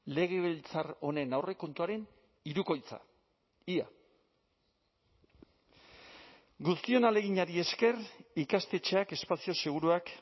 legebiltzar honen aurrekontuaren hirukoitza ia guztion ahaleginari esker ikastetxeak espazio seguruak